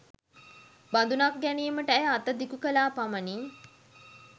බඳුනක් ගැනීමට ඇය අත දිගු කළා පමණි